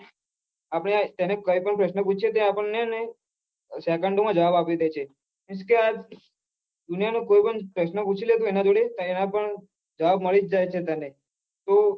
આપણે આ તેને કહી પન પ્રશ્ન પૂછીએ ત્યારે આપડ હેને second ઓ માં જવાબ આપી દે છે કેમકે આજ દુનિયાનો કોઈ પણ પ્રશ્ન પૂછી લે તો એ ના જોડે તેના પન પણ જવાબ મળી જાય છે તને તો